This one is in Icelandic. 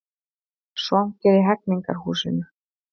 Svangir í Hegningarhúsi